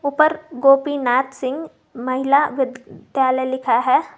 ऊपर गोपीनाथ सिंह महिला विद विद्यालय लिखा है।